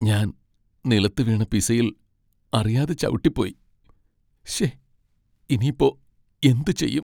ഞാൻ നിലത്തുവീണ പിസയിൽ അറിയാതെ ചവിട്ടിപ്പോയി, ശേ, ഇനിയിപ്പോ എന്ത് ചെയ്യും?